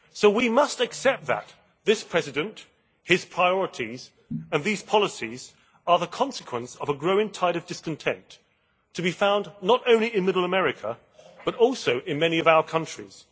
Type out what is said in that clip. We must accept that this President, his priorities and these policies are the consequence of a growing tide of discontent to be found not only in middle America, but also in many of our countries.